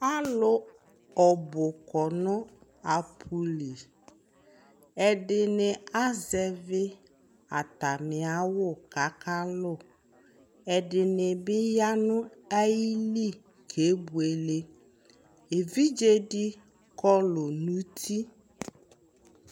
Alu ɔbu kɔ no apu li Ɛdene azɛve atane awu ko aka lu Ɛdene be ya no ayili kebuele Evidze de kɔlu no uti